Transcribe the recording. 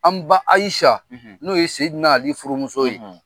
An ba Ayisa, , n'o ye Ali furumuso ye.